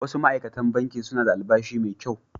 Wasu ma’aikatan Bankin suna da albashi mai kyau